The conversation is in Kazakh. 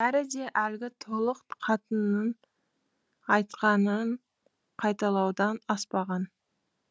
бәрі де әлгі толық қатынның айтқанын қайталаудан аспаған